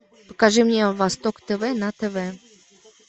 покажи мне восток тв на тв